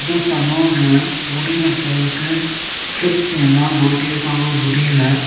இந்த சலூன்ல முடி வெட்றதக்கு க்ளிப்ஸ் எல்லா மாட்டி இருக்காங்க முடியில.